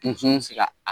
Kun bɛ se ka a